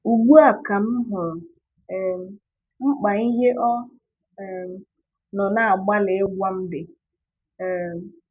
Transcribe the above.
Ugbu a ka m hụrụ um mkpa ihe ọ um nọ na-agbalị ịgwa m dị. um